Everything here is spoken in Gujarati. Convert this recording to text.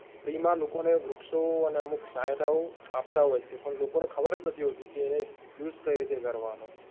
free માં લોકોને વૃક્ષઓ અને અમુક સહાયતાઓ આપતા હોયછે, પણ લોકોને ખબર જ નથી હોતી કે એને use કઈ રીતે કરવાનો